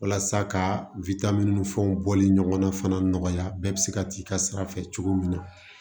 Walasa ka ni fɛnw bɔli ɲɔgɔnna fana nɔgɔya bɛɛ bi se ka t'i ka sira fɛ cogo min na